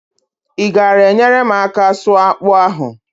I gaara enyere m aka sụọ akpụ ahụ?